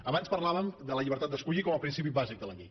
abans parlàvem de la llibertat d’escollir com a principi bàsic de la llei